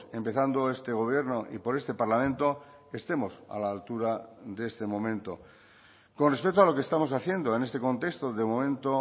empezando este gobierno y por este parlamento estemos a la altura de este momento con respecto a lo que estamos haciendo en este contexto de momento